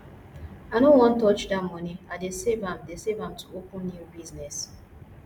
i no wan touch dat money i dey save am dey save am to open new business